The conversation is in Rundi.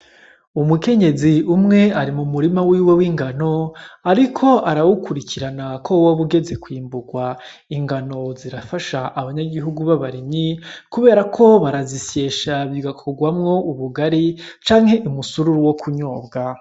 Umukenyezi umwe ari mumurima wiwe w'ingano ariko arawukurikirana ko woba ugeze kwimburwa , ingano zirafasha abanyagihugu b'abarimyi kuberako barazisyesha bigakorwamwo ubugari canke umusururu wo kunyobwa .